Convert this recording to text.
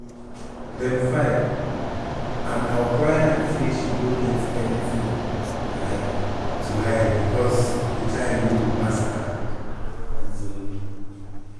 dem file and our client say she no get anytin um to hide becos di child no be bastard. um